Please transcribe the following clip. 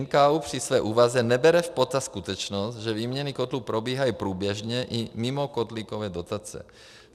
NKÚ při své úvaze nebere v potaz skutečnost, že výměny kotlů probíhají průběžně i mimo kotlíkové dotace.